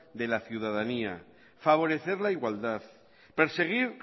de la ciudadanía favorecer la igualdad perseguir